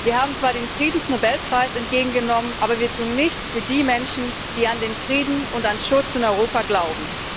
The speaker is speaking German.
Wir haben zwar den Friedensnobelpreis entgegengenommen, aber wir tun nichts für die Menschen, die an den Frieden und an Schutz in Europa glauben.